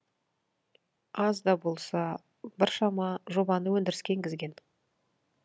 аз да болса біршама жобаны өндіріске енгізген